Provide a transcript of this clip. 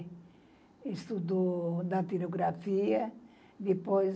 Ele estudou na Teorografia, depois...